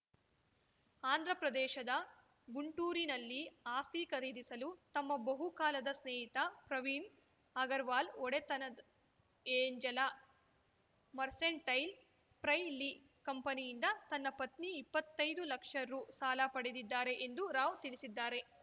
ಆಂಧ್ರಪ್ರದೇಶದ ಗುಂಟೂರಿನಲ್ಲಿ ಆಸ್ತಿ ಖರೀದಿಸಲು ತಮ್ಮ ಬಹುಕಾಲದ ಸ್ನೇಹಿತ ಪ್ರವೀಣ್‌ ಅಗರ್‌ವಾಲ್‌ ಒಡೆತನದ ಏಂಜೆಲಾ ಮರ್ಸೆಂಟೈಲ್‌ ಪ್ರೈಲಿ ಕಂಪನಿಯಿಂದ ತನ್ನ ಪತ್ನಿ ಇಪ್ಪತ್ತೈದು ಲಕ್ಷ ರು ಸಾಲ ಪಡೆದಿದ್ದಾರೆ ಎಂದು ರಾವ್‌ ತಿಳಿಸಿದ್ದಾರೆ